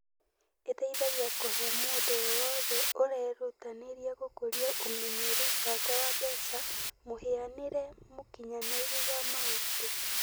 Ĩteithagia kũhe mũndũ o wothe ũrerutanĩria gũkũria ũmenyeru wake wa mbeca mũhianĩre mũkinyanĩru wa maũndũ.